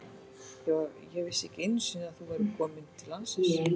Ég vissi ekki einu sinni að þú værir komin til landsins.